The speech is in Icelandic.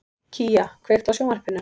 Kía, kveiktu á sjónvarpinu.